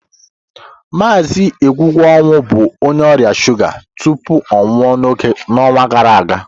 Mazị Egwuonwu bụ onye ọrịa shuga tupu ọ nwụọ n'ọnwa gara aga.